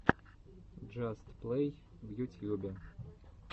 джаст плей в ютьюбе